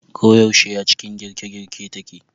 Ko yaushe a cikin girke girke take.